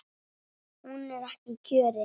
Hún er ekki kjörin.